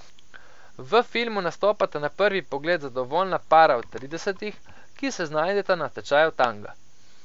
V filmu nastopata na prvi pogled zadovoljna para v tridesetih, ki se znajdeta na tečaju tanga.